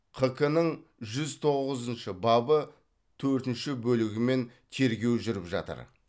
қк нің жүз тоғызыншы бабы төртінші бөлігімен тергеу жүріп жатыр